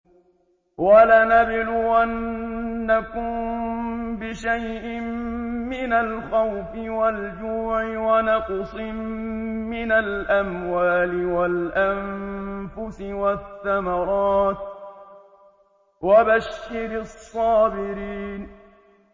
وَلَنَبْلُوَنَّكُم بِشَيْءٍ مِّنَ الْخَوْفِ وَالْجُوعِ وَنَقْصٍ مِّنَ الْأَمْوَالِ وَالْأَنفُسِ وَالثَّمَرَاتِ ۗ وَبَشِّرِ الصَّابِرِينَ